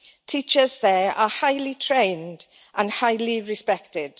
Teachers there are highly trained and highly respected.